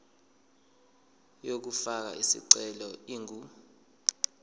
yokufaka isicelo ingu